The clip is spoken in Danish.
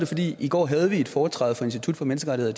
fordi vi i går havde et foretræde fra institut for menneskerettigheder